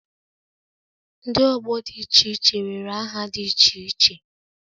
Ndi ọgbọ dị iche iche nwere aha dị iche iche